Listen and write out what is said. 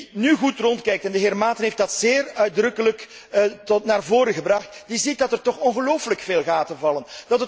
Wie nu goed rondkijkt, en de heer Maaten heeft dat zeer nadrukkelijk naar voren gebracht, ziet dat er toch ongelooflijk veel gaten vallen.